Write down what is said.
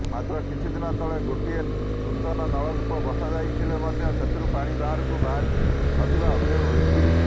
ମାତ୍ର କିଛି ଦିନ ତଳେ ଗୋଟିଏ ନୂତନ ନଳକୂପ ବସାଯାଇଥିଲେ ମଧ୍ୟ ସେଥିରୁ ପାଣି ବାହାରୁ ନଥିବା ଅଭିଯୋଗ ହୋଇଛି